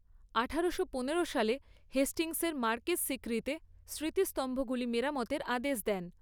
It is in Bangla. আঠারোশো পনেরো সালে হেস্টিংসের মার্কেস সিক্রিতে স্মৃতিস্তম্ভগুলি মেরামতের আদেশ দেন।